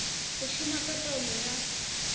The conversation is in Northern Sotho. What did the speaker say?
go šoma ka taolo ya